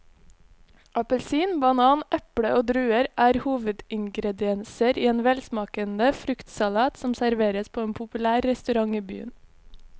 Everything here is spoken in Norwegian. Appelsin, banan, eple og druer er hovedingredienser i en velsmakende fruktsalat som serveres på en populær restaurant i byen.